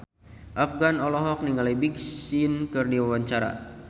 Afgan olohok ningali Big Sean keur diwawancara